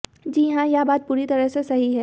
जी हां यह बात पूरी तरह से सही है